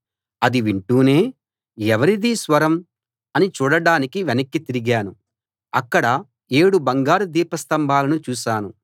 అది వింటూనే ఎవరిదీ స్వరం అని చూడడానికి వెనక్కి తిరిగాను అక్కడ ఏడు బంగారు దీపస్తంభాలను చూశాను